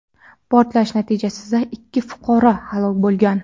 Portlash natijasida ikki fuqaro halok bo‘lgan.